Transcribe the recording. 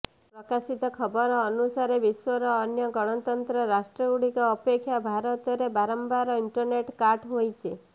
ପ୍ରକାଶିତ ଖବର ଅନୁସାରେ ବିଶ୍ୱର ଅନ୍ୟ ଗଣତନ୍ତ୍ର ରାଷ୍ଟ୍ରଗୁଡ଼ିକ ଅପେକ୍ଷା ଭାରତରେ ବାରମ୍ବାର ଇଣ୍ଟର୍ନେଟ୍ କାଟ୍ ହୋଇଛି